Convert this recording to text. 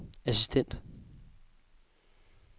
assistent